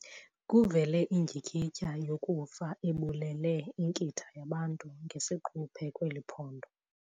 Kuvele indyikityha yokufa ebulele inkitha yabantu ngesiquphe kweli phondo.